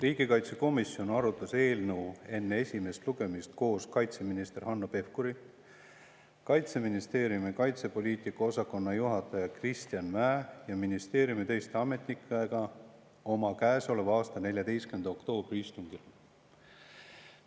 Riigikaitsekomisjon arutas eelnõu enne esimest lugemist koos kaitseminister Hanno Pevkuri, Kaitseministeeriumi kaitsepoliitika osakonna juhataja Kristjan Mäe ja ministeeriumi teiste ametnikega käesoleva aasta 14. oktoobri istungil.